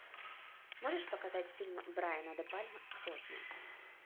можешь показать фильм брайана де пальма сотня